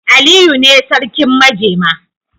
Aliyu ne sarkin majema.